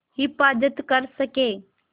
हिफ़ाज़त कर सकें